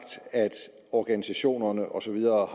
at organisationerne og så videre